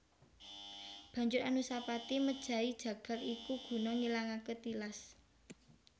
Banjur Anusapati mejahi jagal iku guna ngilangaké tilas